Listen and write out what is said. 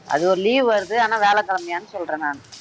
அது ஒரு leave வருது ஆனா வியாழக்கிழமையான்னு சொல்றேன்